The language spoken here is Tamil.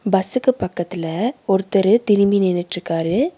பஸ்சுக்கு பக்கத்துல ஒருத்தரு திரும்பி நின்னுட்ருக்காரு.